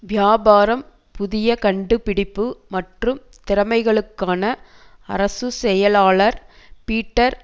வியாபாரம் புதிய கண்டுபிடிப்பு மற்றும் திறமைகளுக்கான அரசு செயலாளர் பீட்டர்